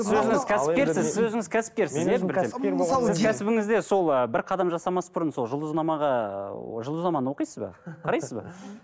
сіз өзіңіз кәсіпкерсіз сіз кәсібіңізде сол ы бір қадам жасамас бұрын сол жұлдызнамаға ыыы жұлдызнаманы оқисыз ба қарайсыз ба